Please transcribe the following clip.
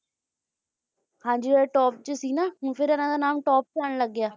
ਹਾਂ ਹਾਂ ਜੀ ਉਹ top ਚ ਸੀ ਨਾ ਹੁਣ ਫੇਰ ਉਨ੍ਹਾਂ ਦਾ ਨਾਮ top ਚ ਆਉਣ ਲੱਗ ਗਿਆ